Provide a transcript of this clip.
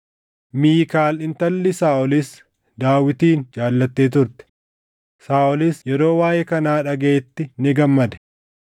Miikaal intalli Saaʼolis Daawitin jaallattee turte; Saaʼolis yeroo waaʼee kanaa dhagaʼetti ni gammade.